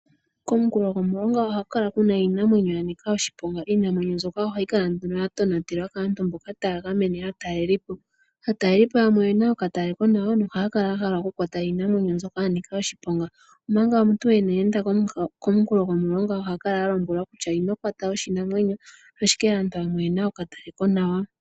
Komunkulo gomulonga oha ku kala kuna iinamwenyo ya nika oshiponga, iinamwenyo mbyoka ohayi kala nduno ya tonatelwa kaantu mboka taya gamene aatalelipo. Aatalelipo yamwe oyena okalekonawa na ohaya kala ya hala okutala iinamwenyo mbyoka ya nika oshiponga. Omanga omuntu ina enda ko komunkulo gomulonga oha kala a lombewa kutya "ino kwata oshinamwenyo", ashike aantu yamwe oyena okalekonawa.